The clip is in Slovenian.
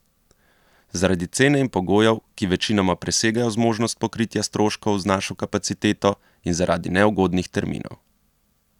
Zaradi cene in pogojev, ki večinoma presegajo zmožnost pokritja stroškov z našo kapaciteto, in zaradi neugodnih terminov.